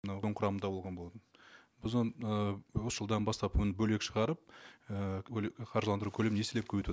мынау құрамында болған болатын біз оны ыыы осы жылдан бастап оны бөлек шығарып і қаржыландыру көлемін еселеп көбейтіп